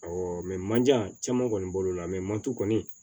Awɔ manjan caman kɔni bolo la manti kɔni